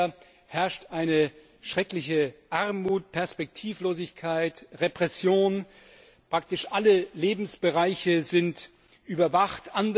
In Nordkorea herrscht eine schreckliche Armut, Perspektivlosigkeit, Repression, praktisch alle Lebensbereiche sind überwacht.